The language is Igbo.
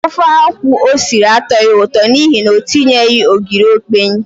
Ofe akwụ o siri atọghị ụtọ n'ihi na o tinyeghị ogiri okpei.